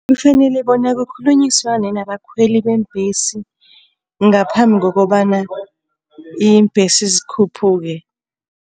Kufanele bona kukhulunyiswane nabakhweli beembhesi ngaphambi kokobana iimbhesi zikhuphuke.